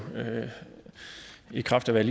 i kraft af hvad